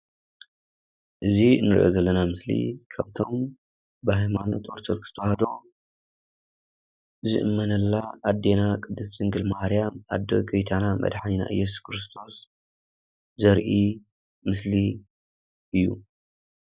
እዚ እንሪኦ ዘለና ምስሊ ካብቶም ብሃይማኖት አርቶዶክስ ተዋህዶ ዝእመነላ አዴና ድንግል ቅድስት ማርያም አዶ ጉይታና መድሓኒትና እየሱስ ክርስቶስ ዘርኢ ምስሊ እዩ።